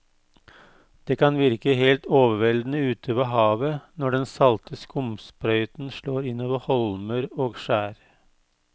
Det kan virke helt overveldende ute ved havet når den salte skumsprøyten slår innover holmer og skjær.